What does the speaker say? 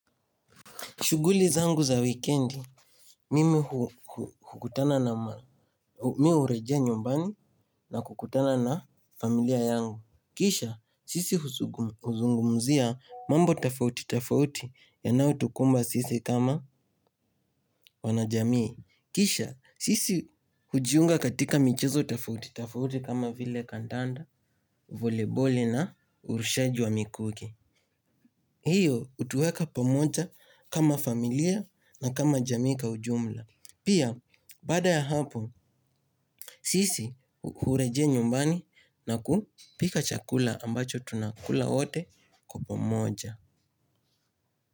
Shughuli zangu za weekendi mmi hu hurejea nyumbani na kukutana na familia yangu. Kisha, sisi uzungumzia mambo tafauti tafauti ya nau tukumba sisi kama wana jamii. Kisha, sisi hujiunga katika michizo tafauti tafauti kama vile kandanda, voleboli na urushaji wa mikukii. Hiyo utuweka pomoja kama familia na kama jamika ujumla. Pia bada ya hapo sisi hureje nyumbani na kupika chakula ambacho tunakula wote kwa pamoja.